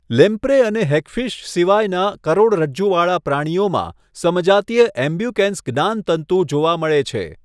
Lamprey અને hagfish સિવાયના કરોડરજ્જુવાળા પ્રાણીઓમાં સમજાતિય એબ્યુકેન્સ જ્ઞાનતંતુ જોવા મળે છે.